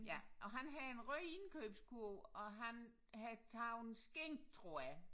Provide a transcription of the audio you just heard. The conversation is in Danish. Ja og han har en rød indkøbskurv og han har tager en skinke tror jeg